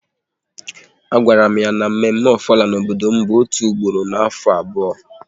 A gwara m ya na mme mme Ofala n'obodo m bụ otu ugboro n'afọ abụọ